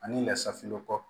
Ani lasafinnɔgɔ